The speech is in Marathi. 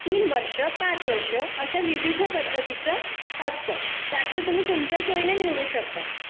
तीन वर्ष पाच वर्ष अशा विविध पद्धतीचा असतं त्यात कालावधी तुम्ही तुमच्या सोयीनुसार निवडू शकता